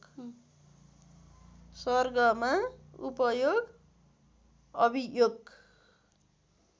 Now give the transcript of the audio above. सर्गमा उपयोग अभियोग